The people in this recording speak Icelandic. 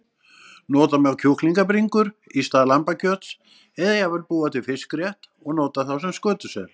Nota má kjúklingabringur í stað lambakjöts eða jafnvel búa til fiskrétt og nota þá skötusel.